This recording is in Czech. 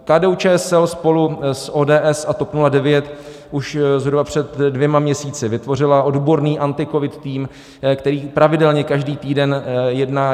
KDU-ČSL spolu s ODS a TOP 09 už zhruba před dvěma měsíci vytvořila odborný AntiCovid tým, který pravidelně každý týden jedná.